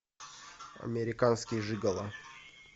американский жиголо